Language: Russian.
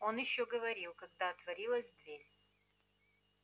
он ещё говорил когда отворилась дверь